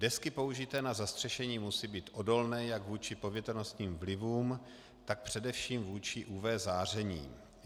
Desky použité na zastřešení musí být odolné jak vůči povětrnostním vlivům, tak především vůči UV záření.